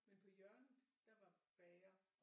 Men på hjørnet der var bager